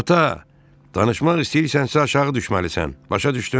Ata, danışmaq istəyirsənsə, aşağı düşməlisən, başa düşdün?